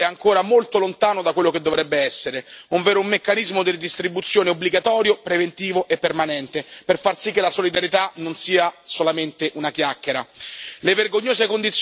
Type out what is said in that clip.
Il sistema comune di asilo è ancora molto lontano da quello che dovrebbe essere, ovvero un vero meccanismo di ridistribuzione obbligatorio, preventivo e permanente, per far sì che la solidarietà non sia solamente una chiacchera.